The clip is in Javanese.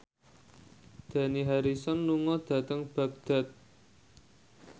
Dani Harrison lunga dhateng Baghdad